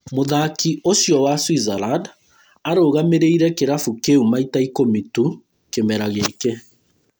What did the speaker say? Mũthaki ũcio wa Switzerland arũgamĩrĩire kĩrabu kĩu maita ikũmi tu kĩmera gĩkĩ